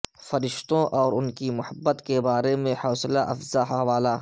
فرشتوں اور ان کی محبت کے بارے میں حوصلہ افزا حوالہ